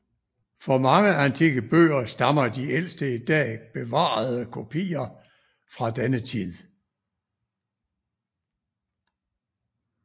For mange antikke bøger stammer de ældste i dag bevarede kopier fra denne tid